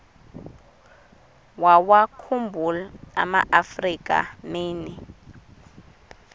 wawakhumbul amaafrika mini